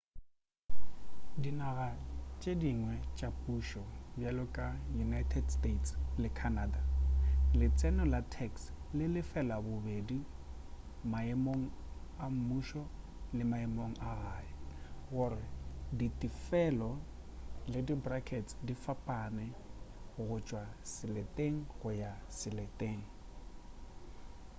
dinaga tše dingwe tša pušo bjalo ka united states le canada letseno la tax le lefelwa bobedi maemong a mmušo le maemo a gae gore ditefelo le dibrskets di fapane go tšwa seleteng go ya seleteng